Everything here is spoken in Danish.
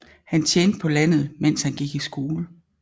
Han tjente på landet mens han gik skole